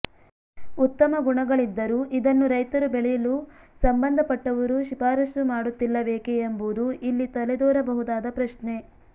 ಉತ್ತಮ ಗುಣಗಳಿದ್ದರೂ ಇದನ್ನು ರೈತರು ಬೆಳೆಯಲು ಸಂಬಂಧಪಟ್ಟವರು ಶಿಫಾರಸ್ಸು ಮಾಡುತ್ತಿಲ್ಲವೇಕೆ ಎಂಬುದು ಇಲ್ಲಿ ತಲೆದೋರಬಹುದಾದ ಪ್ರಶ್ನೆ